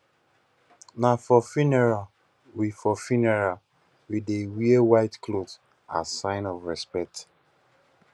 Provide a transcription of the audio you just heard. na for funeral we for funeral we dey wear white cloth as sign of respect